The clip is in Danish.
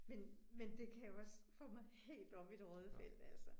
Men men det kan jo også få mig helt op i det røde felt altså